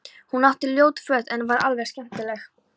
Hún átti ljót föt en var alveg skemmtileg.